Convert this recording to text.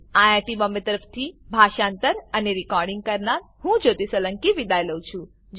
IIT Bombay તરફથી હું જ્યોતી સોલંકી વિદાય લઉં છું